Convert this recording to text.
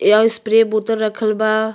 यह स्प्रे बोतल रखल बा।